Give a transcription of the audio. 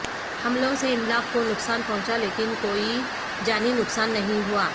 حملوں سے املاک کو نقصان پہنچا لیکن کوئی جانی نقصان نہیں ہوا